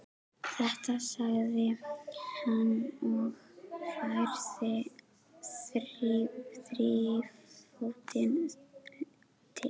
Þetta, sagði hann og færði þrífótinn til.